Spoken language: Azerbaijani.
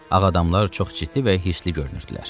Ağadamlar çox ciddi və hirsli görünürdülər.